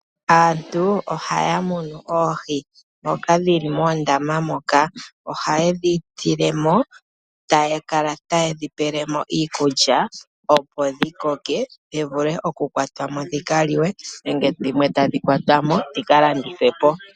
Aantu ohaya mono oohi ndhoka dhili moondama moka, ohaye dhi tilemo taya kala taye dhipelemo iikulya opo dhikoke dhivule okukwatwamo dhika liwe nenge dhimwe tadhi kwatwamo dhika landithwe po.